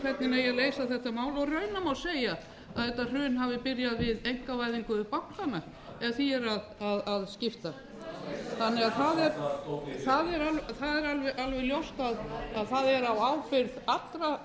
hvernig eigi að leysa þetta mál raunar má segja að þetta hrun hafi byrjað við einkavæðingu bankanna ef því er að skipta þannig að það er alveg ljóst að það er á ábyrgð allra